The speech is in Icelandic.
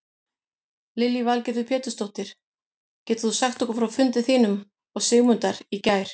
Lillý Valgerður Pétursdóttir: Getur þú sagt okkur frá fundi þínum og Sigmundar í gær?